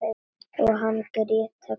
Og Hans og Gréta komin!